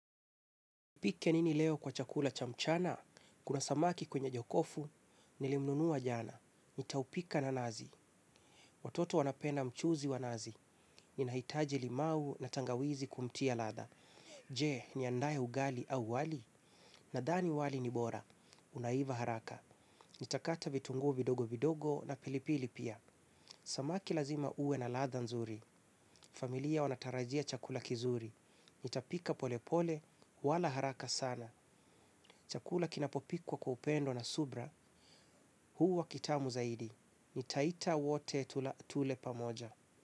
Nipike nini leo kwa chakula cha mchana? Kuna samaki kwenye jokofu, nilimnunua jana. Nitaupika na nazi. Watoto wanapenda mchuzi wa nazi. Ninahitaji limau na tangawizi kumtia ladha. Je, niandae ugali au wali? Nadhani wali ni bora. Unaiva haraka. Nitakata vitungu vidogo vidogo na pilipili pia. Samaki lazima uwe na ladha nzuri. Familia wanatarajia chakula kizuri. Nitapika pole pole, wala haraka sana. Chakula kinapopikwa kwa upendo na subra, huwu kitamu zaidi. Nitaita wote tule pamoja.